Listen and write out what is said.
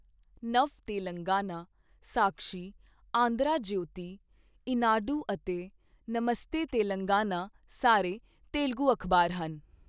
ਨਵ ਤੇਲੰਗਾਨਾ, ਸਾਕਸ਼ੀ, ਆਂਧਰਾ ਜਯੋਤੀ, ਈਨਾਡੂ ਅਤੇ ਨਮਸਤੇ ਤੇਲੰਗਾਨਾ ਸਾਰੇ ਤੇਲਗੂ ਅਖ਼ਬਾਰ ਹਨ।